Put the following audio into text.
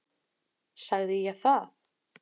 Sagði ég það?